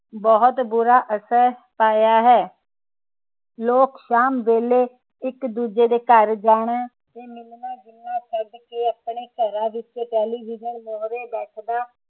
ਬਹੁਤ ਬੁਰਾ ਅਸਰ ਪਾਇਆ ਹੈ। ਲੋਕ ਸ਼ਾਮ ਵੇਹਲੇ ਇਕ ਦੂਜੇ ਦੇ ਘਰ ਜਾਣਾ ਤੇ ਮਿਲਣਾ ਜੁਲਣਾ ਛੱਡ ਕੇ ਆਪਣੇ ਘਰਾਂ ਵਿਚ ਟੇਲੀਵਿਜਨ ਮੂਹਰੇ ਬੈਠਣਾ